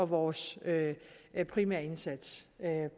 vores primære indsats